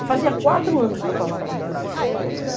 E fazia quatro anos que eu estava atrás desse senhor.